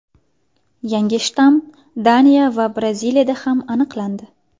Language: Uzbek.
Yangi shtamm Daniya va Braziliyada ham aniqlandi .